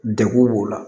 Degun b'o la